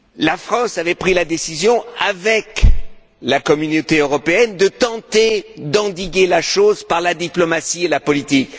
La France avait pris la décision, avec l'Union européenne, de tenter d'endiguer le problème par la diplomatie et la politique.